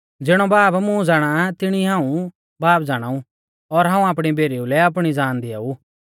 ज़िणौ बाब मुं ज़ाणा आ तिणी ई हाऊं बाब ज़ाणाऊ और हाऊं आपणी भेरीऊ लै आपणी ज़ान दिआऊ